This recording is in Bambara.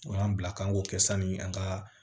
O y'an bila k'an k'o kɛ sani an ka